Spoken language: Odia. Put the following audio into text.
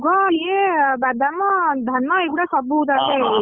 ମୁଗ ଇଏ ବାଦାମ ଧାନ ଏଗୁଡା ସବୁ ତାହାଲେ ଚାଷ ହେଇଯାଇଛି।